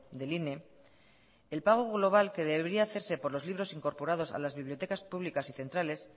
del ine el pago global que debería hacerse por los libros incorporados a las bibliotecas públicas y centrales